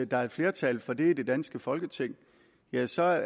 der er flertal for det i det danske folketing ja så er